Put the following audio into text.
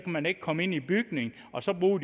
man ikke komme ind i bygningen og så bruger